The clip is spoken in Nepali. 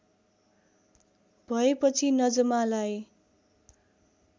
भएपछि नजमालाई